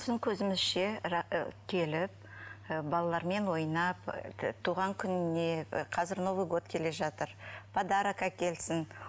біздің көзімізше келіп і балалармен ойнап і туған күніне і қазір новый год келе жатыр подарок әкелсін